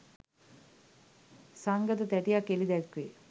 සංගත තැටියක් එලි දැක්වේ